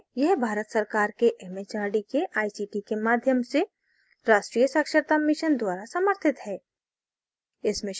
यह भारत सरकार के it it आर डी के आई सी टी के माध्यम से राष्ट्रीय साक्षरता mission द्वारा समर्थित है